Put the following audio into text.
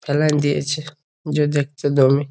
ফেলান দিয়েছে যে দেখতে দমে।